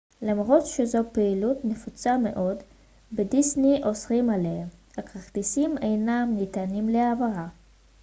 למרות שזו פעילות נפוצה מאוד בדיסני אוסרים עליה הכרטיסים אינם ניתנים להעברה